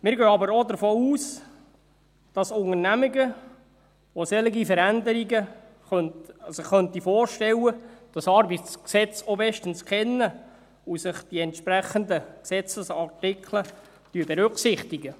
Wir gehen aber auch davon aus, dass Unternehmungen, die sich solche Veränderungen vorstellen könnten, das ArG auch bestens kennen und die entsprechenden Gesetzesartikel berücksichtigen.